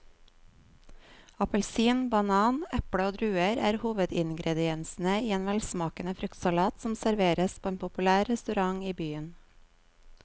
Appelsin, banan, eple og druer er hovedingredienser i en velsmakende fruktsalat som serveres på en populær restaurant i byen.